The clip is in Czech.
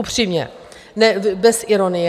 Upřímně, bez ironie.